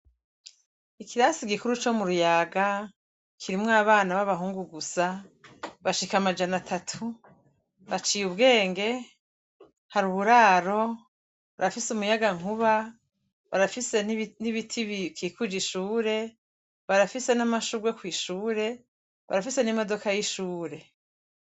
Ikirasi gikuru co muruyaga kirimwo abana babahungu gusa bashika amajana atatu baciye ubwenge hari uburaro barafise umuyagankuba barafise nibiti bikikuje ishure barafise namashurwe kwishure barafise nimodoka yishure